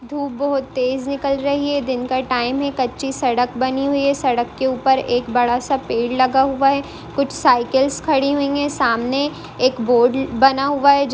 धूप बोहत तेज निकल रही है। दिन का टाइम है कच्ची सड़क बानी हुयी है। सड़क के ऊपर एक बड़ासा पेड़ लाहा हुआ है। कुछ साइकिलस खड़ि हूइ है। सामने एक बोर्ड वाना हूआ। जिन--